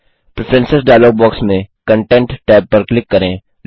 preferences dialog box में content tab पर click करें